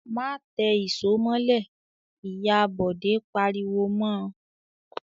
"Má tẹ ìṣó mọ́lẹ̀!" Ìyá Bọ̀dé pariwo mọ.